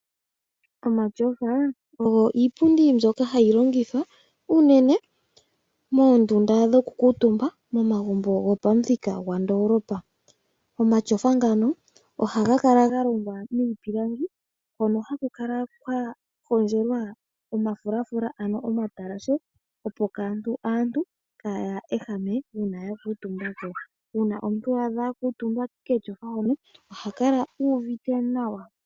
Omatyofa ogo iipundi mbyoka hayi longithwa unene moondunda dhokukuutumba momagumbo gopamuthika gwandoolopa. Omatyofa ngano ohaga kala ga longwa miipilangi hono haku kala kwa hondjelwa omafulafula, ano omatalashe, opo aantu kaya ehame uuna ya kuutumba ko. Uuna omuntu a adha a kuutumba ketyofa hono oha kala u uvite nawa.